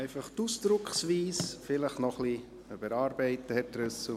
Einfach die Ausdrucksweise vielleicht noch etwas überarbeiten, Herr Trüssel.